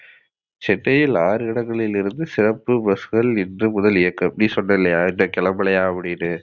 சென்னையில் ஆறு இடங்களில் இருந்து இன்று சிறப்பு bus கள் இன்று முதல் இயக்கம். நீ சொன்ன இல்லையா இன்னோ கிளம்பலையா அப்டினு